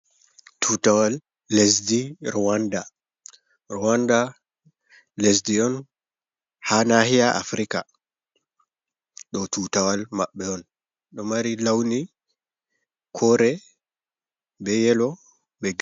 Tutawal Lesdi Ruwanda, Ruwanda Lesdi on ha Lahiyal Africa, Ɗo Tutawal Maɓɓe on ɗo Mari Launi Kore be Yellow.